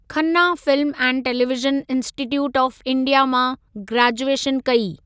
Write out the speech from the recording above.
Khanna film and television institute of India मां graduation कई।